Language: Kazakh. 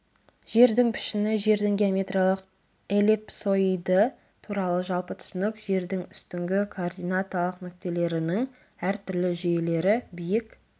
жердің пішіні жердің геометриялық элипсоиды туралы жалпы түсінік жердің үстіңгі координаталық нүктелерінің әртүрлі жүйелері биік